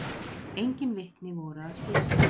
Engin vitni voru að slysinu